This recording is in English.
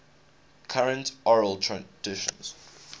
current oral traditions